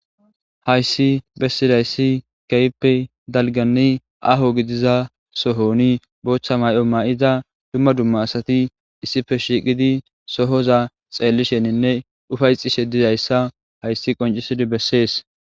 Hayssi bessidayssi keppe dalgani aho gidiza sohoni boochcha may'o ma'iza dumma dumma asati issife shiiqidi sohoza xeellisheninne ufayxishe dizayssa hayssi qoncisidi bessees.